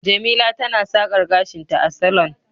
jemila tana sakar gashinta a salon